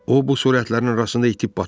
O, bu surətlərin arasında itib batar.